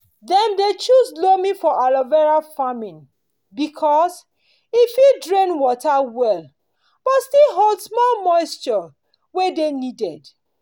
dem dey choose loam for aloe vera farming because e fit drain water well but still hold small moisture wey dey needed